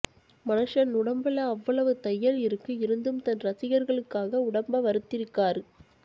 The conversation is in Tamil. மனுஷன் உடம்புல அவ்வளவு தய்யல் இருக்கு இருந்தும் தன் ரசிகர்களுக்காக உடம்ப வருத்திருக்காரு